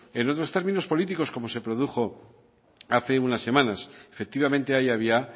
en otros términos políticos como se produjo hace unas semanas efectivamente ahí había